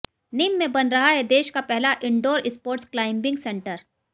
निम में बन रहा देश का पहला इंडोर स्पोटर्स क्लाइंबिंग सेंटर